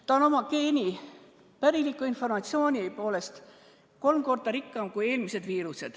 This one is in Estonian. Ta on oma geeni, päriliku informatsiooni poolest kolm korda rikkam kui eelmised viirused.